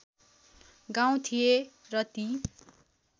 गाउँ थिए र ती